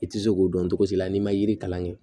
I tɛ se k'o dɔn togo si la n'i ma yiri kalan kɛ